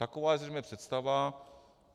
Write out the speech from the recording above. Taková je zřejmě představa.